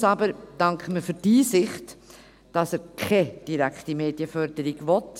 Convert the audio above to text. Besonders aber danken wir für die Einsicht, dass er keine direkte Medienförderung will.